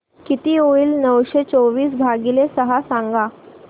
किती होईल नऊशे चोवीस भागीले सहा सांगा